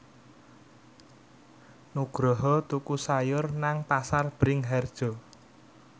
Nugroho tuku sayur nang Pasar Bringharjo